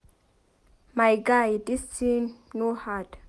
My guy dis thing no hard